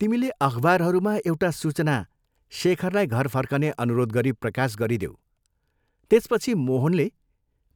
तिमीले अखबारहरूमा एउटा सूचना शेखरलाई घर फर्कने अनुरोध गरी प्रकाश गरिदेऊ त्यसपछि मोहनले